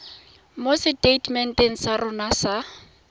mo seteitementeng sa rona sa